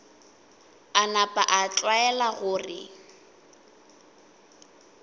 a napa a tlwaela gore